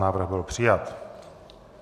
Návrh byl přijat.